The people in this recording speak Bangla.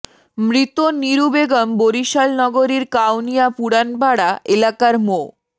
মৃত নিরু বেগম বরিশাল নগরীর কাউনিয়া পুড়ানপাড়া এলাকার মো